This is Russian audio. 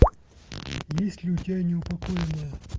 есть ли у тебя неупокоенная